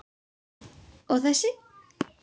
Og þessi?